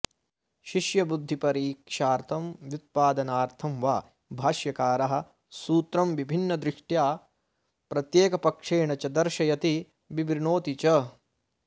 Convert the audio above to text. शिष्यबुद्धिपरीक्षार्थं व्युत्पादनार्थं वा भाष्यकारः सूत्रं विभिन्नदृष्ट्या प्रत्येकपक्षेण च दर्शयति विवृणोति च